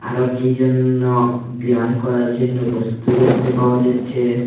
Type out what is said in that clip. আরো কী যেন্য ব্যায়াম করার জন্য বস্তু দেখতে পাওয়া যাচ্ছে।